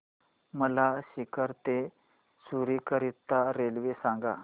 मला सीकर ते चुरु करीता रेल्वे सांगा